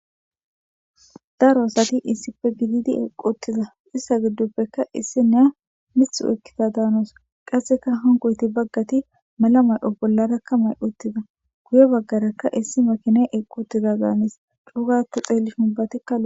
Daro asati issife gididi eqotida hayssata gidduppekka issi neya mith oykkita daanoos qasseka hongoyti baggati mala may7o bollarakka may uttida guye baggarakka issi makine eqotida gaanis cuugatto xeell huubatikal